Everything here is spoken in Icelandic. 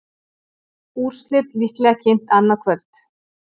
Úrslit líklega kynnt annað kvöld